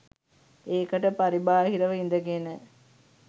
ඒකට පරිබාහිරව ඉදගෙන